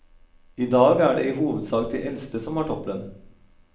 I dag er det i hovedsak de eldste som har topplønn.